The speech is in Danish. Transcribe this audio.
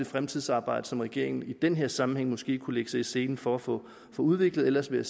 fremtidsarbejde som regeringen i den her sammenhæng måske kunne lægge sig i selen for at få udviklet ellers vil